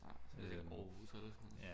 Aarhus eller sådan noget